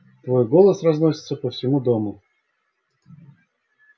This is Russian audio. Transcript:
твой голос разносится по всему дому